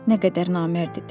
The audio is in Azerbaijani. Nə qədər namərd idi.